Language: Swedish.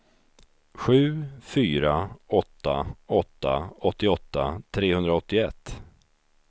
sju fyra åtta åtta åttioåtta trehundraåttioett